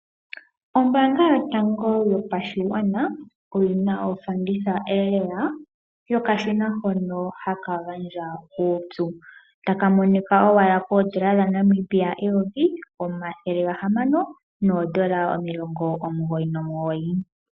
Ombaanga yotango yopashigwana oyina ofanditha lela yokashina hono haka gandja uupyu taka monika owala koondola dhaNamibia eyovi omathele gahamano noondola omulongo omugoyi nomugoyi.